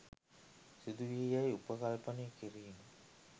සිදුවේයැයි උපකල්පනය කිරීමය.